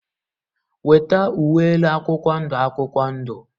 Weta uwe elu akwụkwọ ndụ akwụkwọ ndụ!.